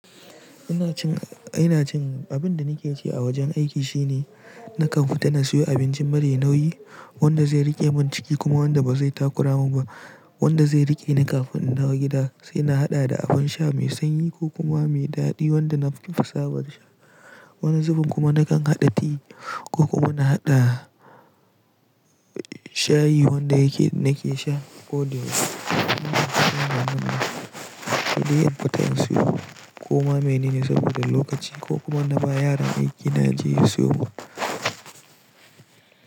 Ina cin, ina cin, abin da nake ci a wajen aiki shine nakan fita na siyo abincin mara nauyi wanda zai riƙe min ciki kuma wanda ba zai takurama ba, wanda zai riƙe ni kafin in dawo gida. Sai na haɗa da abin sha mai sanyi ko kuma mai daɗi wanda na fi so. Wani zubin kuma nakan haɗa ti ko kuma na haɗa shayi wanda yake nake sha ko the. Ko ma menene saboda lokaci ko kuma na ba yaran aiki na je siyo ba.